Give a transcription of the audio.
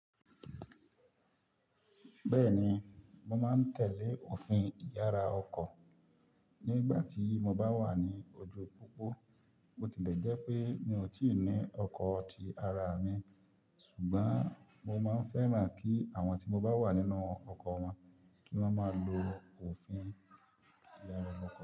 Bẹ́ẹ̀ni, mo máa ń tẹ̀lé òfin ìyára ọkọ̀ nígbà tí mo bá wà ní ojú pópó, bo tilẹ jẹ́ pé mi ò tíì ní ọkọ̀ ti ara mi, ṣùgbọ́n mo máa ń fẹ́ràn kí àwọn tí mo bá wà nínú ọkọ̀ wọn kí wọ́n má lo òfin ìyára ọkọ̀.